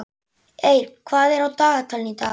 Eir, hvað er á dagatalinu í dag?